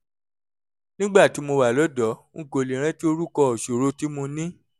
nígbà tí mo wà lọ́dọ̀ọ́ n kò lè rántí orúkọ ìṣòro tí mo ní